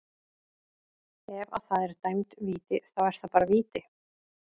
Ef að það er dæmd víti, þá er það bara víti.